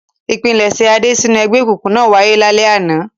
Ìpilẹ̀ṣẹ̀ Adé sínú ẹgbẹ́ òkùnkùn náà wáyé lálẹ́ àná.